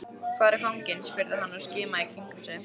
Hvar er fanginn? spurði hann og skimaði í kringum sig.